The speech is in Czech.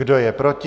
Kdo je proti?